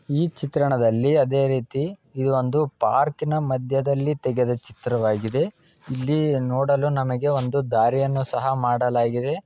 ಈ ಚಿತ್ರಣದಲ್ಲಿ ಅದೆ ರೀತಿ ಇದು ಒಂದು ಪಾರ್ಕ್ನ ಮಧ್ಯದಲ್ಲಿ ತೆಗೆದ ಚಿತ್ರವಾಗಿದೆ ಇಲ್ಲಿ ನೋಡಲು ನಮಗೆ ಒಂದು ದಾರಿಯನ್ನು ಸಹ ಮಾಡಲಾಗಿದೆ.